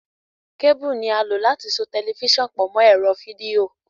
Kébúù ni a lò láti so tẹlifiṣàn pọ̀ mọ́ ẹ̀rọ fídíò.